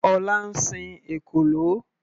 Ọlá ń sin ekòló.